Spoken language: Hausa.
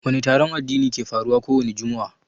Wani taron addini ke faruwa kowani jumu'a?